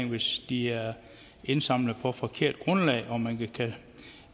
hvis de er indsamlet på forkert grundlag